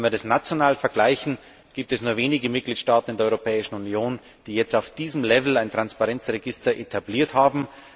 Wenn wir das national vergleichen, gibt es nur wenige Mitgliedstaaten in der Europäischen Union, die jetzt auf diesem Level ein Transparenzregister etabliert haben.